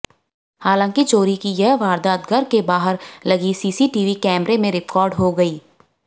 हालांकि चोरी की यह वारदात घर के बाहर लगी सीसीटीवी कैमरे में रिकॉर्ड हो गयी